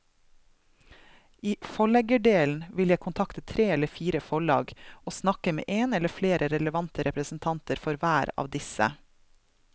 I forleggerdelen vil jeg kontakte tre eller fire forlag og snakke med en eller flere relevante representanter for hver av disse.